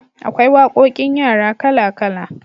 Akwai waƙoƙin yara kala kala